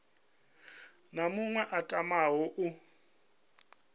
na muṅwe a tamaho u